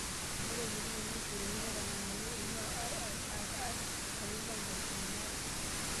Ore elimunoto naishoruaki netang'amuaki eing'ua IIRR tolari loo nkalifuni aare.